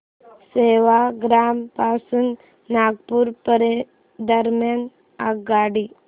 सेवाग्राम पासून नागपूर दरम्यान आगगाडी